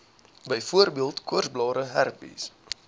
byvoorbeeld koorsblare herpes